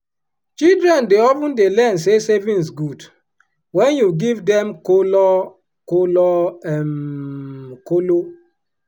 children dey of ten dey learn say savings good wen you give dem color color um kolo.